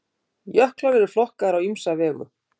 Jöklar eru flokkaðir á ýmsa vegu.